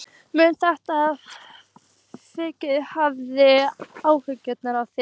Mun þetta verkfall hafa áhrif á þig?